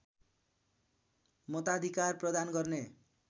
मताधिकार प्रदान गर्ने